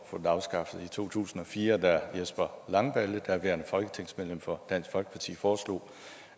få den afskaffet i to tusind og fire da jesper langballe daværende folketingsmedlem for dansk folkeparti foreslog